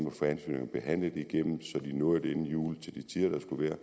at få ansøgninger behandlet igennem så de nåede det inden jul til de tider der skulle være